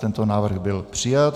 Tento návrh byl přijat.